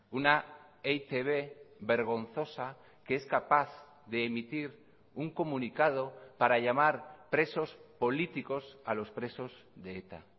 una e i te be vergonzosa que es capaz de emitir un comunicado para llamar presos políticos a los presos de eta